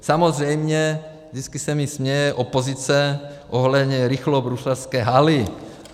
Samozřejmě vždycky se mi směje opozice ohledně rychlobruslařské haly.